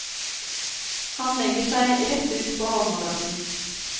Han legger seg rett ut på halmmadrassen.